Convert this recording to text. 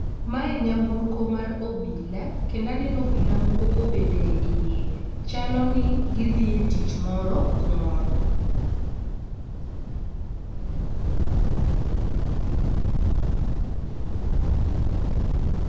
Mae nyamburko mar obila kendo aneno obila moko kobede iye chalo ni gidhiye tich moro kumoro